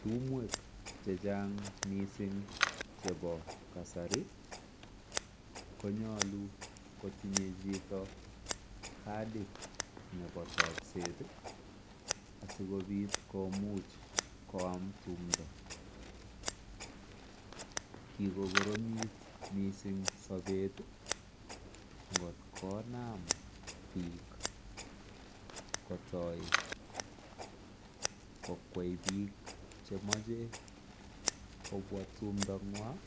Tumwek chechang missing che bo kasari konyolu kotinye chito katit ne bo takset ii asikobit komuch koam tumntoo, kiko koromit missing sobet ngot konam biik kokwei biik chemoche kobwa tumndo ngwan